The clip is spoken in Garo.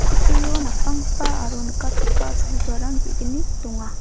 kutturio napanggipa aro nikatgipa cholgugarang ge·gni donga.